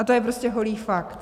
A to je prostě holý fakt.